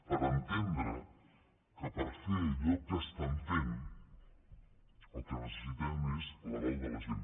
per entendre que per fer allò que estan fent el que necessiten és l’aval de la gent